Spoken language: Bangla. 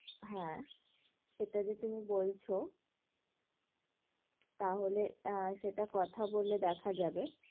হ্যাঁ, এটা যে তুমি বলছো তাহলে আহ সেটা কথা বলে দেখা যাবে।